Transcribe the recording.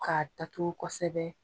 K'a datugu kɔsɛbɛ.